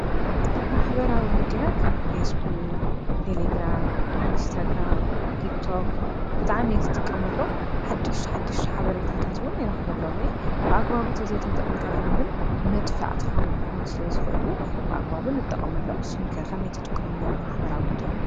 ማሕበራዊ ሚድያ ከም ፌስቡክ፣ ቴሌግራም፣ ኢንስታግራም፣ ቲክቶክ ብጣዕሚ እየ ዝጥቀመሎም። ሓድሽቲ ሓድሽቲ ሓበሬታታት እውን ይረኽበሎም እየ ።ብኣግባቡ ተዘይተጠቅምካሎም ግን መጥፋእትካ ክኾኑ ስለ ዝኽእሉ ብኣግባቡ ንጠቀመሎም ።ንስኹም ከ ከመይ ትጥቀምሎም ማሕበራዊ ሚድያ?